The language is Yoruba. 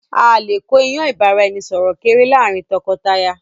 Áà lè kó ìyàn ìbáraẹnisọọ̀rọ̀ kéré láàrin tọkọtaya